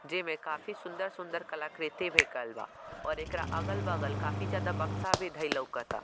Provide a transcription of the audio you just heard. जे में काफी सुन्दर-सुन्दर कलाकृति भी केएल बा और एकरा अगल-बगल काफी ज्यादा बक्शा भी धे लोकाता।